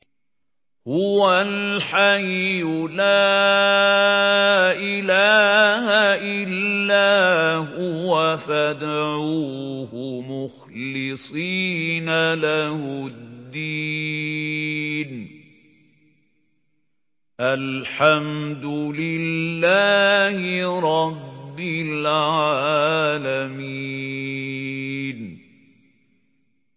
هُوَ الْحَيُّ لَا إِلَٰهَ إِلَّا هُوَ فَادْعُوهُ مُخْلِصِينَ لَهُ الدِّينَ ۗ الْحَمْدُ لِلَّهِ رَبِّ الْعَالَمِينَ